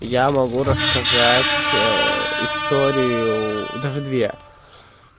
я могу рассказать историю даже две